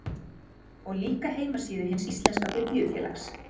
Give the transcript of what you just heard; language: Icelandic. sjá líka heimasíðu hins íslenska biblíufélags